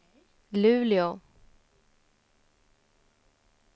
Luleå